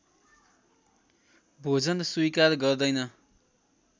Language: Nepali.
भोजन स्वीकार गर्दैन